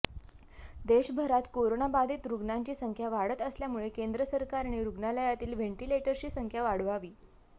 देशभरात कोरोनाबाधित रुग्णांची संख्या वाढत असल्यामुळे केंद्र सरकारने रुग्णालयातील व्हेंटीलेटर्सची संख्या वाढवावी